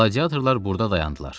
Qladiyatorlar burda dayandılar.